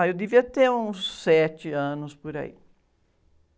Ah, eu devia ter uns sete anos por aí.